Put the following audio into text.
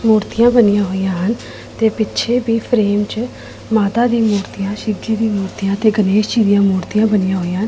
ਮੂਰਤੀਆਂ ਬਣੀਆਂ ਹੋਈਆਂ ਹਨ ਤੇ ਪਿੱਛੇ ਵੀ ਫਰੇਮ ਚ ਮਾਤਾ ਦੀ ਮੂਰਤੀਆਂ ਸ਼ਿਵਜੀ ਦੀ ਮੂਰਤੀਆਂ ਤੇ ਗਣੇਸ਼ ਜੀ ਦੀਆਂ ਮੂਰਤੀਆਂ ਬਣੀਆਂ ਹੋਈਆਂ--